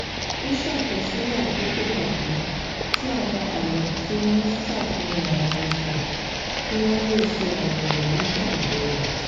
ó ṣàkọsílè àkókò pàtó tí àwọn àmì tí ó ń ṣàfihàn àìsàn kí wón lè ṣe àyẹwò nígbà ìbèwò